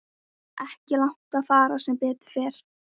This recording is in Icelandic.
Ekki langt að fara sem betur fer.